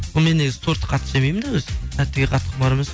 мен негізі тортты қатты жемеймін да өзі тәттіге құмар емес